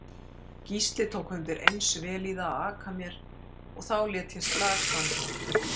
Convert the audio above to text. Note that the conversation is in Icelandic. Gísli tók undireins vel í það að aka mér og þá lét ég slag standa.